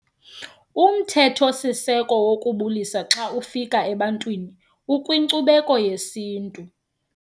Umthetho-siseko wokubulisa xa ufika ebantwini ukwinkcubeko yesintu.